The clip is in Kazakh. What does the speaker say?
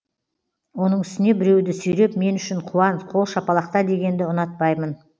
оның үстіне біреуді сүйреп мен үшін қуан қол шапалақта дегенді ұнатпаймын